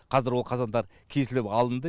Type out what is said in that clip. қазір ол қазандар кесіліп алынды